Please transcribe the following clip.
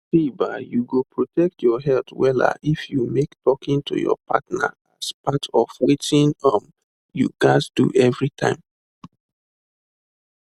see ba you go protect your health wella if you make talking to your partner as part of watin um you gas do everytime